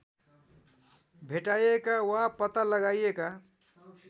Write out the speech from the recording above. भेटाइएका वा पत्ता लगाइएका